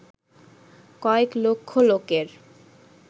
কয়েক লক্ষ লোকের